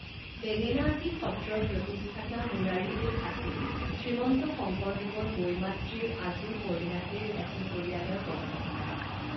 বেঙেনাআটী সত্ৰৰ প্ৰতিষ্ঠাতা মুৰাৰীদেৱ আছিল শ্ৰীমন্ত শংকৰদেৱৰ বৈমাতৃৰ আজুপৰিণাতিৰ এটি পৰিয়ালৰ বংশধৰ।